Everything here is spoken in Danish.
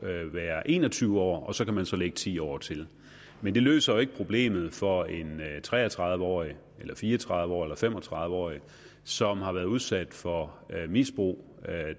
være en og tyve år og så kan lægge ti år til men det løser ikke problemet for en tre og tredive årig eller fire og tredive årig eller fem og tredive årig som har været udsat for misbrug